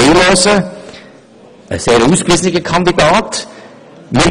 Es handelt sich um einen sehr ausgewiesenen Kandidaten.